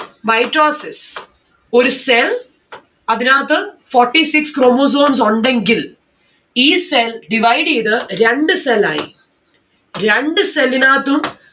mitosis ഒരു cell അതിനകത്ത് forty six chromosomes ഉണ്ടെങ്കിൽ ഈ cell divide എയ്ത് രണ്ട്‌ cell ആയി. രണ്ട്‌ cell ന് ആത്തും